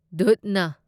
ꯗꯨꯙꯅ